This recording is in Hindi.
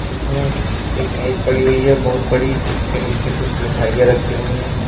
जिसमें एक मेज़ पड़ी हुई है बहुत बड़ी जिसके नीचे कुछ मिठाइयां रखी हुई हैं।